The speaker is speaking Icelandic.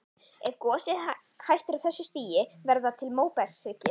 Ef gosið hættir á þessu stigi verða til móbergshryggir.